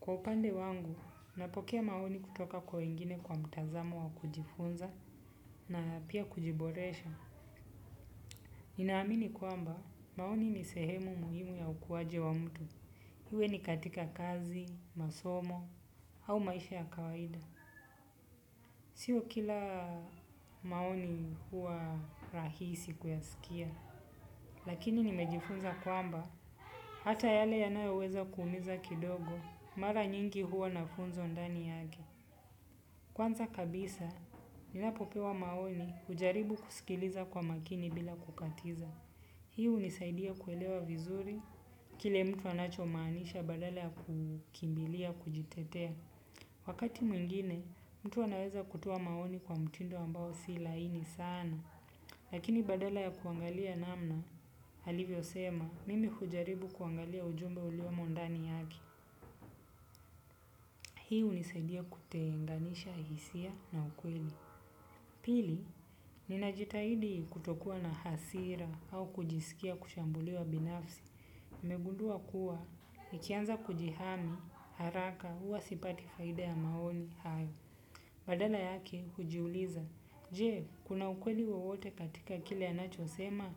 Kwa upande wangu, napokea maoni kutoka kwa wengine kwa mtazamo wa kujifunza na pia kujiboresha. Ninaamini kwamba, maoni ni sehemu muhimu ya ukuaji wa mtu. Iwe ni katika kazi, masomo, au maisha ya kawaida. Sio kila maoni huwa rahisi kuyasikia. Lakini nimejifunza kwamba, hata yale yanayoweza kuumiza kidogo, mara nyingi huwa na funzo ndani yake. Kwanza kabisa, ninapopewa maoni, hujaribu kusikiliza kwa makini bila kukatiza. Hii hunisaidia kuelewa vizuri, kile mtu anachomanisha badala ya kukimbilia, kujitetea. Wakati mwingine, mtu anaweza kutoa maoni kwa mtindo ambao si laini sana. Lakini badala ya kuangalia namna alivyo sema, mimi hujaribu kuangalia ujumbe uliomo ndani yake. Hi hunisaidia kutenganisha hisia na ukweli. Pili, ninajitahidi kutokua na hasira au kujisikia kushambuliwa binafsi. Nimegundua kuwa, nikianza kujihami, haraka, huwa sipati faida ya maoni hayo. Badala yake, hujiuliza. Je, kuna ukweli wewote katika kile anacho sema?